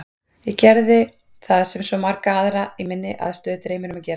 Ég gerði það sem svo marga aðra í minni aðstöðu dreymir um að gera.